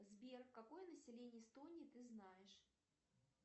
сбер какое население эстонии ты знаешь